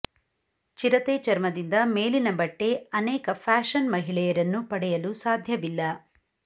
ಚಿರತೆ ಚರ್ಮದಿಂದ ಮೇಲಿನ ಬಟ್ಟೆ ಅನೇಕ ಫ್ಯಾಶನ್ ಮಹಿಳೆಯರನ್ನು ಪಡೆಯಲು ಸಾಧ್ಯವಿಲ್ಲ